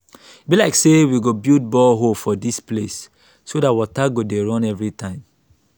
e be like say we go build borehole for dis place so dat water go dey run everytime